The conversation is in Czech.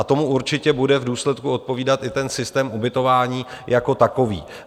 A tomu určitě bude v důsledku odpovídat i ten systém ubytování jako takový.